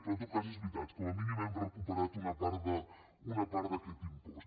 però en tot cas és veritat com a mínim hem recuperat una part d’aquest impost